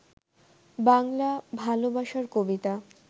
বাংলা ভালোবাসার কবিতা